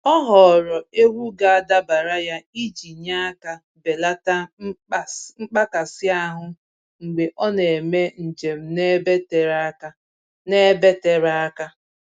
Ọ họọrọ egwu ga-adabara ya iji nye aka belata mkpakasị ahụ mgbe ọ na-eme njem n'ebe tere aka. n'ebe tere aka.